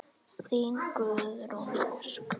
Þín Guðrún Ósk.